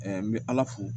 n bɛ ala fo